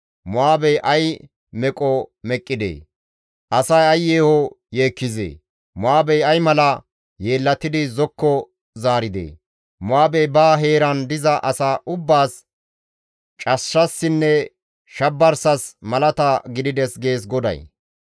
«Mo7aabey ay meqo meqqidee! Asay ay yeeho yeekkizee! Mo7aabey ay mala yeellatidi zokko zaaridee! Mo7aabey ba heeran diza asa ubbaas cashshassinne shabarsas malata gidides» gees GODAY.